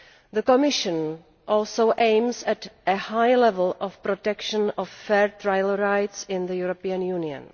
The Commission also aims at a high level of protection of fair trial rights in the European Union.